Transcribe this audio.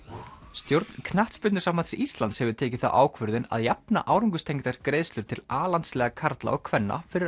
stjórn Knattspyrnusambands Íslands hefur tekið þá ákvörðun að jafna árangurstengdar greiðslur til Alandsliða karla og kvenna fyrir